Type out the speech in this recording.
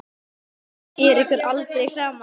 Maður sér ykkur aldrei saman.